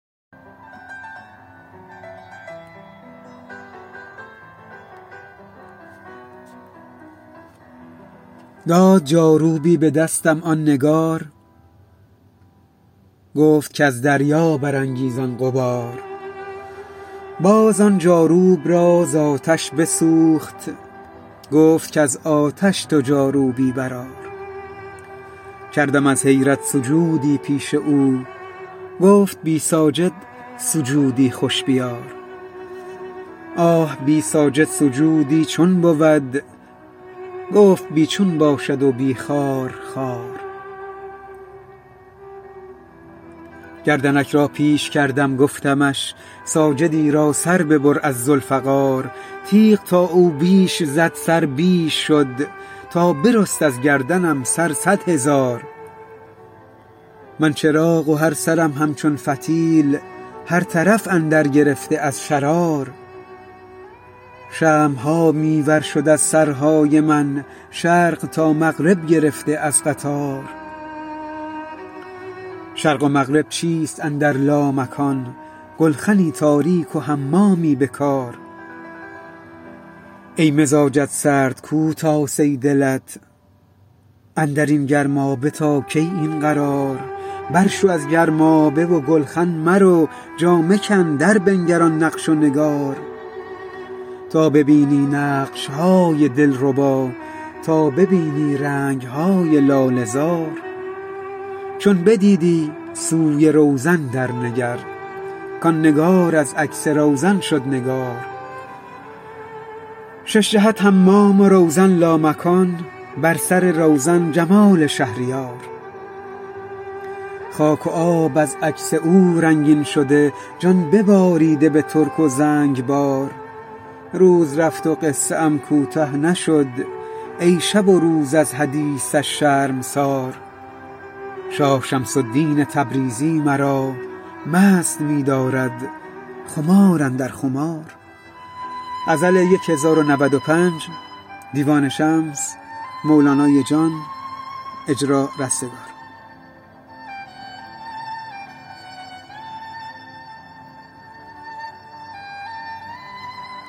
داد جاروبی به دستم آن نگار گفت کز دریا برانگیزان غبار باز آن جاروب را ز آتش بسوخت گفت کز آتش تو جاروبی برآر کردم از حیرت سجودی پیش او گفت بی ساجد سجودی خوش بیار آه بی ساجد سجودی چون بود گفت بی چون باشد و بی خارخار گردنک را پیش کردم گفتمش ساجدی را سر ببر از ذوالفقار تیغ تا او بیش زد سر بیش شد تا برست از گردنم سر صد هزار من چراغ و هر سرم همچون فتیل هر طرف اندر گرفته از شرار شمع ها می ورشد از سرهای من شرق تا مغرب گرفته از قطار شرق و مغرب چیست اندر لامکان گلخنی تاریک و حمامی به کار ای مزاجت سرد کو تاسه دلت اندر این گرمابه تا کی این قرار برشو از گرمابه و گلخن مرو جامه کن دربنگر آن نقش و نگار تا ببینی نقش های دلربا تا ببینی رنگ های لاله زار چون بدیدی سوی روزن درنگر کان نگار از عکس روزن شد نگار شش جهت حمام و روزن لامکان بر سر روزن جمال شهریار خاک و آب از عکس او رنگین شده جان بباریده به ترک و زنگبار روز رفت و قصه ام کوته نشد ای شب و روز از حدیثش شرمسار شاه شمس الدین تبریزی مرا مست می دارد خمار اندر خمار